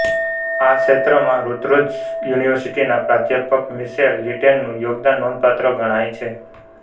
આ ક્ષેત્રમાં રુત્જર્સ યુનિવર્સિટીના પ્રાધ્યાપક મીશેલ લિટનનું યોગદાન નોંધપાત્ર ગણાય છે